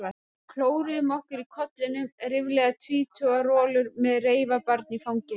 Við klóruðum okkur í kollinum, ríflega tvítugar rolur með reifabarn í fanginu?